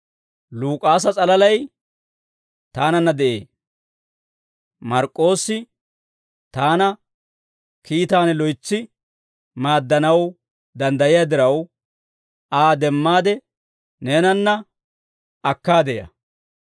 Luk'aasa s'alalay taananna de'ee. Mark'k'oossi taana kiitaan loytsi maaddanaw danddayiyaa diraw, Aa demmaade neenanna akkaade ya.